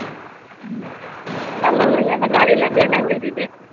என்ன சொல்றீங்க இந்த கதையில இருந்து என்ன தெரியுது